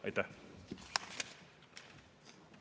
Aitäh!